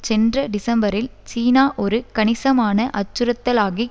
சென்ற டிசம்பரில் சீனா ஒரு கணிசமான அச்சுறுத்தலாகிக்